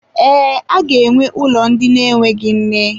Ee, aga-enwe ụlọ ndị na-enweghị nne.